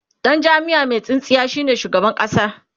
Dan jamiya Mai tsintsiya ne shugaban ƙasa